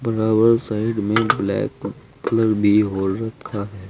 Side में black colour भी हो रखा है।